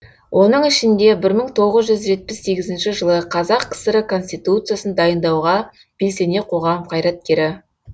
оның ішінде бір мың тоғыз жүз жетпіс сегізінші жылы қазақ кср і конституциясын дайындауға белсене қоғам қайраткері